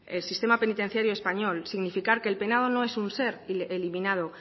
el sistema penitenciario español significar que el penado no es un ser eliminado